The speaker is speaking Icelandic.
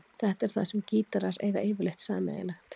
Þetta er það sem gítarar eiga yfirleitt sameiginlegt.